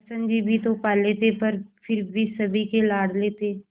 कृष्ण जी भी तो काले थे पर फिर भी सभी के लाडले थे